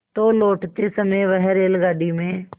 तो लौटते समय वह रेलगाडी में